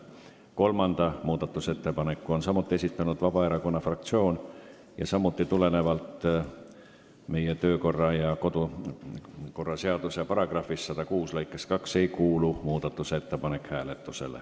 Kolmanda muudatusettepaneku on samuti esitanud Vabaerakonna fraktsioon ja seegi muudatusettepanek ei kuulu hääletusele tulenevalt meie kodu- ja töökorra seaduse § 106 lõikest 2.